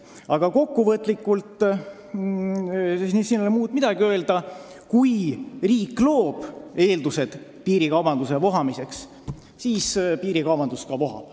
Aga kokkuvõtteks ei ole muud midagi öelda kui seda, et kui riik loob eeldused piirikaubanduse vohamiseks, siis piirikaubandus ka vohab.